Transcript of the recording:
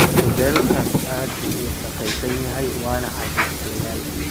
Hudheelkani aad buu u wasakhaysan yahay wanna cajislayaal